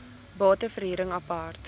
bate verhuring apart